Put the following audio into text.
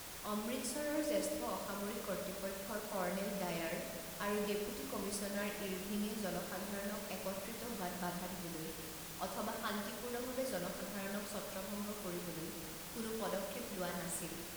অমৃতসৰৰ জ্যেষ্ঠ অসামৰিক কৰ্তৃপক্ষৰ কৰ্নেল ডায়াৰ আৰু ডেপুটি কমিছনাৰ ইৰভিঙে জনসাধাৰণক একত্ৰিত হোৱাত বাধা দিবলৈ অথবা শান্তিপূৰ্ণভাৱে জনসাধাৰণক ছত্ৰভঙ্গ কৰিবলৈ কোনো পদক্ষেপ লোৱা নাছিল।